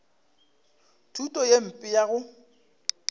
thuto ye mpe ya go